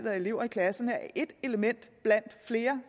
af elever i klasserne er ét element blandt flere